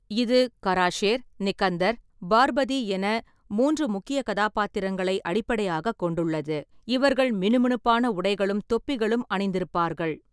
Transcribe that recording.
இது கராஷேர், நிக்கந்தர், பார்பதி என மூன்று முக்கிய கதாபாத்திரங்களை அடிப்படையாகக் கொண்டுள்ளது, இவர்கள் மினுமினுப்பான உடைகளும் தொப்பிகளும் அணிந்திருப்பார்கள்.